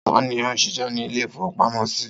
Ta ni ó ń ṣiṣẹ́ ní ilé-ìfowópamọ́sí?